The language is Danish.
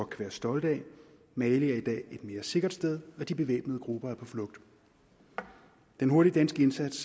kan være stolte af mali er i dag et mere sikkert sted og de bevæbnede grupper er på flugt den hurtige danske indsats